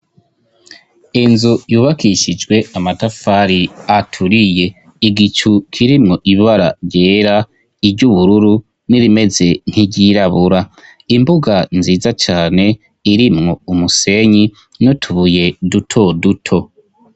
Inzu yubakishijwe amatafari aturiye, igicu kirimwo ibara ryera, iry'ubururu n'irimeze nk'iryirabura, imbuga nziza cane irimwo umusenyi n' utubuye duto duto.